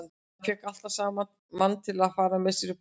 Hann fékk alltaf mann til að fara með sér upp á heiði.